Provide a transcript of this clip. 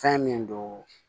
Fɛn min don